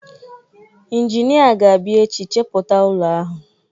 Injinia ga-abịa echi chepụta ụlọ ahụ.